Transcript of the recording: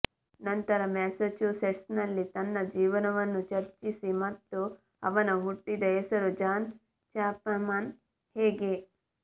ನಂತರ ಮ್ಯಾಸಚುಸೆಟ್ಸ್ನಲ್ಲಿ ತನ್ನ ಜೀವನವನ್ನು ಚರ್ಚಿಸಿ ಮತ್ತು ಅವನ ಹುಟ್ಟಿದ ಹೆಸರು ಜಾನ್ ಚಾಪ್ಮನ್ ಹೇಗೆ